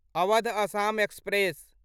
Awadh Assam express